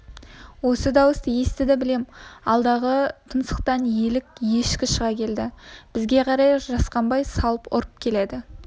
осы дауысты естіді білем алдағы тұмсықтан елік ешкі шыға келді бізге қарай жасқанбай салып ұрып келеді